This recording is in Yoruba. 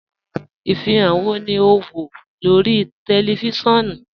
Ifihan wọ́ ni o n wọ lórí tẹlifísiọnu?